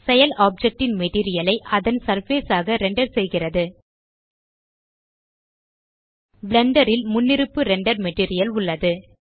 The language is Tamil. செயல் ஆப்ஜெக்ட் ன் மெட்டீரியல் ஐ அதன் சர்ஃபேஸ் ஆக ரெண்டர் செய்கிறது பிளெண்டர் ல் முன்னிருப்பு ரெண்டர் மெட்டீரியல் உள்ளது